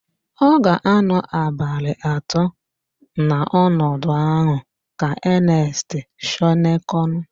Ọ ga-anọ abalị atọ n'ọnọdụ ahụ ka Enest Shọnekọn.